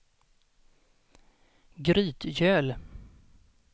Grytgöl